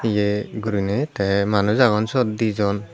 ye gurinei te manus agon sot dijon.